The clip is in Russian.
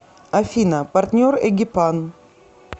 афина партнер эгипан